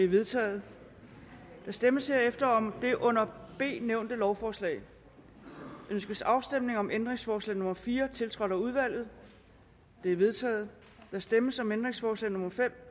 vedtaget der stemmes herefter om det under a nævnte lovforslag ønskes afstemning om ændringsforslag nummer fire tiltrådt af udvalget det er vedtaget der stemmes om ændringsforslag nummer fem